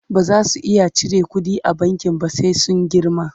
baza su iya cire ƙuɗi a bankin ba sai sun girma